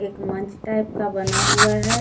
एक मंच टाइप का बना हुआ है।